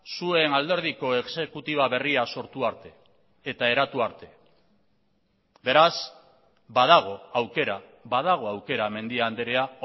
zuen alderdiko exekutiba berria sortu arte eta eratu arte beraz badago aukera badago aukera mendia andrea